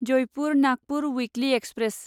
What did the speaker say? Jaipur Nagpur weekly express